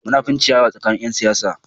Munafinci ya yi yawa tsakanin ƴan siyasa.